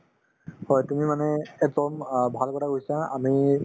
হয়, তুমি মানে একদম অ ভাল কথা কৈছা আমি